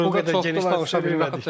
Yəni o qədər geniş danışa bilmirik.